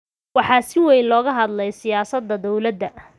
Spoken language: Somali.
Waxaa si weyn looga hadlay siyaasadda dowladda.